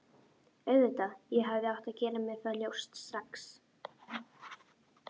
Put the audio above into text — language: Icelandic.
Auðvitað, ég hefði átt að gera mér það ljóst strax.